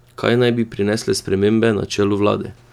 Kaj naj bi prinesle spremembe na čelu vlade?